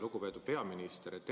Lugupeetud peaminister!